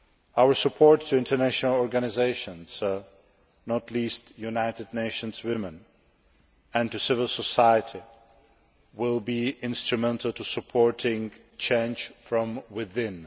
Our support for international organisations, not least United Nations Women, and for civil society, will be instrumental in supporting change from within.